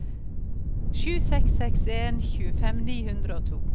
sju seks seks en tjuefem ni hundre og to